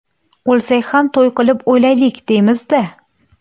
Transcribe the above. O‘lsak ham to‘y qilib o‘laylik, deymiz-da.